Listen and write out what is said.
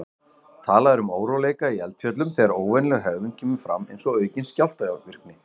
Talað er um óróleika í eldfjöllum þegar óvenjuleg hegðun kemur fram, eins og aukin jarðskjálftavirkni.